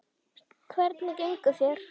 Hvernig gengur þér?